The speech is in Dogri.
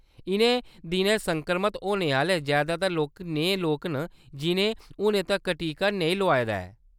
इʼनें दिनैं संक्रमत होने आह्‌‌‌ले जैदातर लोक नेहे लोक न जिʼनें हुनै तक्कर टीका नेईं लोआए दा ऐ।